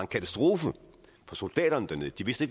katastrofe for soldaterne dernede de vidste